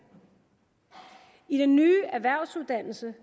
i den nye erhvervsuddannelse